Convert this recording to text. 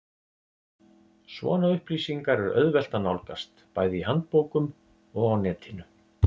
Svona upplýsingar er auðvelt að nálgast, bæði í handbókum og á netinu.